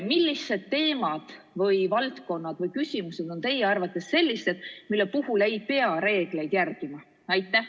Millised teemad, valdkonnad või küsimused on teie arvates sellised, mille puhul ei pea reegleid järgima?